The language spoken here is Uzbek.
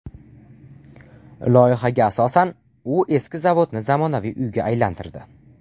Loyihaga asosan, u eski zavodni zamonaviy uyga aylantirdi.